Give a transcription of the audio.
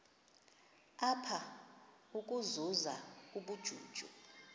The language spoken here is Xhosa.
apha ukuzuza ubujuju